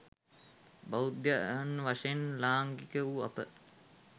බෞද්ධයන් වශයෙන් ලාංකික වූ අප